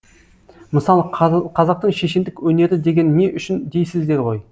мысалы қазақтың шешендік өнері деген не үшін дейсіздер ғой